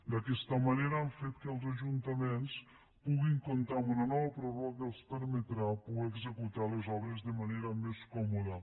d’aquesta manera han fet que els ajuntaments puguin comptar amb una nova pròrroga que els permetrà poder executar les obres de manera més còmoda